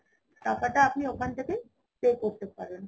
টাকাটা আপনি ওখান থেকেই pay করতে পারেন